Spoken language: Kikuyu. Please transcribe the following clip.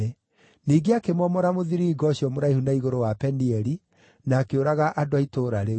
Ningĩ akĩmomora mũthiringo ũcio mũraihu na igũrũ wa Penieli, na akĩũraga andũ a itũũra rĩu.